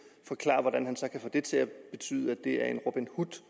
forklare hvordan han så kan få det til at betyde at det er en robin hood